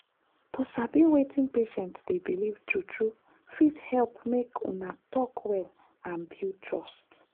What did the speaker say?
to sabi wetin patient dey believe true-true fit help make una talk well and build trust.